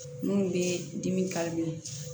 Minnu bɛ dimi